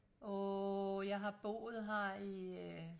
åh jeg har boet her i øh